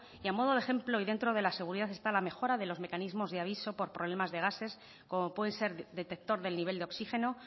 y a modo de ejemplo y dentro de la seguridad está la mejora de los mecanismos de aviso por problemas de gases como puede ser detector del nivel de oxígeno